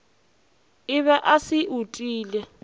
o be a se utile